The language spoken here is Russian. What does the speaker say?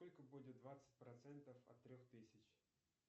сколько будет двадцать процентов от трех тысяч